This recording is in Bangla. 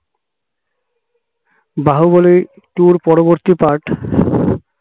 বাহুবলী two পরবর্তী part